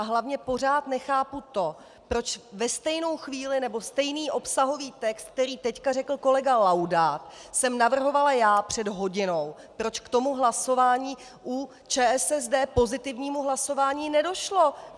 A hlavně pořád nechápu to, proč ve stejnou chvíli nebo stejný obsahový text, který teď řekl kolega Laudát, jsem navrhovala já před hodinou, proč k tomu hlasování u ČSSD, pozitivnímu hlasování, nedošlo.